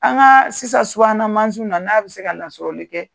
An ka sisan subahanamansiw na n'a bɛ se ka lasɔrɔli kɛ